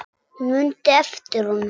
Hún mundi eftir honum.